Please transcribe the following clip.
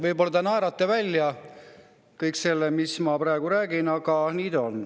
Võib-olla te naerate kõik välja selle, mis ma praegu räägin, aga nii ta on.